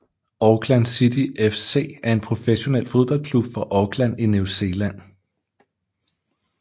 Auckland City FC er en professionel fodboldklub fra Auckland i New Zealand